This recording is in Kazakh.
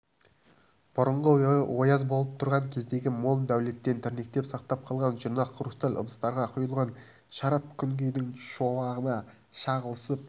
бұрынғы ояз болып тұрған кездегі мол дәулеттен тірнектеп сақтап қалған жұрнақ хрусталь ыдыстарға құйылған шарап күнгейдің шуағына шағылысып